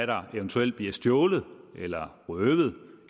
der eventuelt bliver stjålet eller røvet